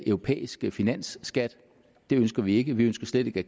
europæisk finansskat det ønsker vi ikke vi ønsker slet ikke at